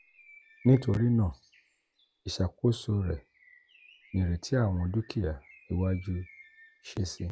nitorinaa iṣakoso rẹ nireti awọn dukia iwaju si si